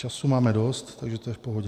Času máme dost, takže to je v pohodě.